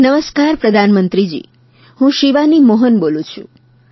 નમસ્કાર પ્રધાનમંત્રીજી હું શિવાની મોહન બોલું છું